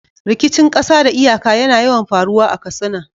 Rikicin ƙasa da iyaka yana yawan faruwa a Katsina.